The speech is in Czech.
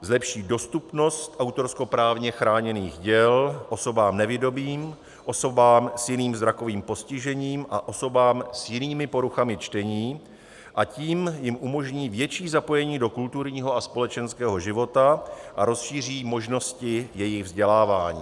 Zlepší dostupnost autorskoprávně chráněných děl osobám nevidomým, osobám s jiným zrakovým postižením a osobám s jinými poruchami čtení, a tím jim umožní větší zapojení do kulturního a společenského života a rozšíří možnosti jejich vzdělávání.